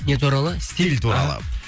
не туралы стиль туралы